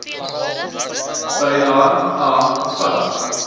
bylae a bevat